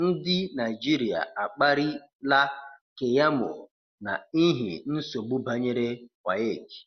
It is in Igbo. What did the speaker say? Ndi Naịjịrịa akpari la Keyamo na ihi nsogbu banyere WAEC